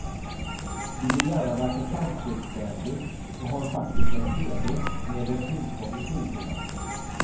Du vill gärna verka framstegsvänlig och har faktiskt en cd med delfinsång i skivhyllan.